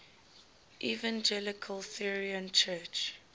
evangelical lutheran church